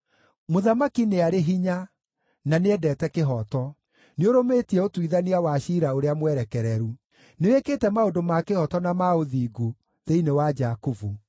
Mũthamaki nĩ arĩ hinya, na nĩendete kĩhooto: nĩũrũmĩtie ũtuithania wa ciira ũrĩa mwerekereru; nĩwĩkĩte maũndũ ma kĩhooto na ma ũthingu thĩinĩ wa Jakubu.